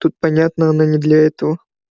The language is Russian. тут понятно она не для этого